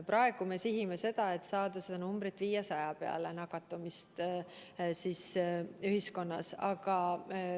Praegu me sihime seda, et saada see number, nakatumisnäitaja ühiskonnas, 500 peale.